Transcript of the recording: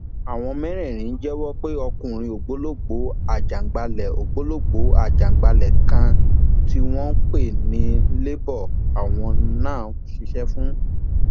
àwọn mẹrẹẹrin jẹwọ pé ọkùnrin ògbólógbòó ajaǹgbàlẹ ògbólógbòó ajaǹgbàlẹ kan tí wọn ń pè ní lebo làwọn ń ṣiṣẹ fún